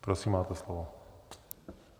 Prosím, máte slovo.